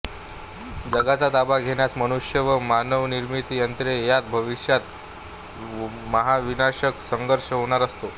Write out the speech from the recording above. जगाचा ताबा घेण्यास मनुष्य व मानवनिर्मित यंत्रे यात भविष्यात महाविनाशक संघर्ष होणार असतो